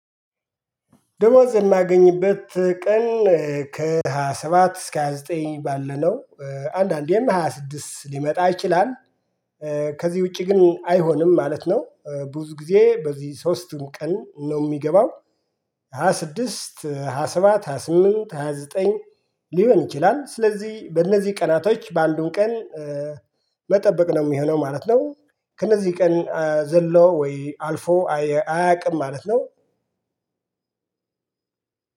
ደሞዝ የማገኝበት ቀን ከሃያ ሰባት እስከ ሃያ ዘጠኝ ባለነው አንዳንዴም ሃያ ስድስት ሊመጣ ይችላል። ከዚህ ውጪ ግን አይሆንም ማለት ነው። ብዙ ጊዜ በዚህ ሶስቱን ቀን ነው የሚገባው። ሃያ ስድስት ሃያ ሰባት ሃያ ስምንት ሃያ ዘጠኝ ሊሆን ይችላል ስለዚህ በእነዚህ ቀናቶች ባሉን ቀን መጠበቅ ነው የሚሆነው ማለት ነው። ከነዚህ ቀን ዘሎ ወይ አልፎ አያቅም ማለት ነው።